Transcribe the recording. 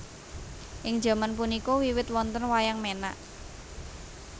Ing jaman punika wiwit wonten Wayang Menak